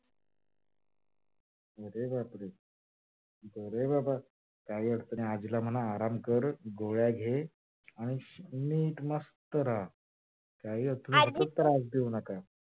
अरे बापरे, अरे बाबा, काही अर्थ नाही आजीला म्हणा आराम कर गोळ्या घे आणि नीट मस्त रहा काही त्रास घेऊ नका आजी